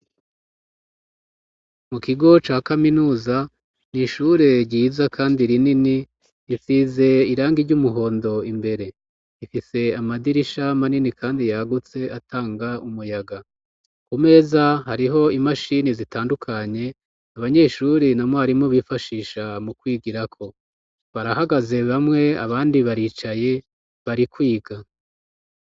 Mu kigo ca kaminuza ni ishure ryiza kandi rinini risize irangi ry'umuhondo imbere. Ifise amadirisha manini kandi yagutse atanga umuyaga. Ku meza hariho imashini zitandukanye abanyeshuri na mwarimu bifashisha mu kwigirako barahagaze bamwe abandi baricaye bari kwiga.